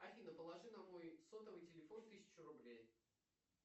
афина положи на мой сотовый телефон тысячу рублей